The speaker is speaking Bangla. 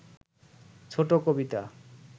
ছোট কবিতা